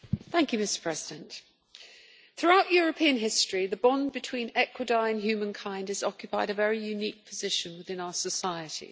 Mr President, throughout European history the bond between equidae and humankind has occupied a very unique position within our societies.